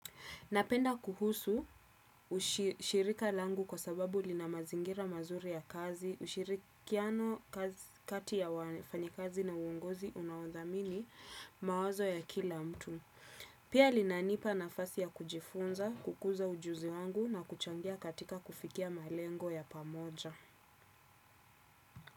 Napenda kuhusu shirika langu kwa sababu lina mazingira mazuri ya kazi, ushirikiano kati ya wafanyakazi na uongozi unaothamini mawazo ya kila mtu. Pia linanipa nafasi ya kujifunza, kukuza ujuzi wangu na kuchangia katika kufikia malengo ya pamoja.